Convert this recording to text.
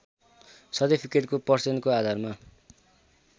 सर्टिफिकेटको पर्सेन्टको आधारमा